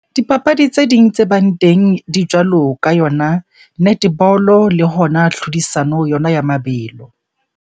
Dipapadi tse ding tse bang teng di jwalo ka yona netball le hona tlhodisano yona ya mabelo.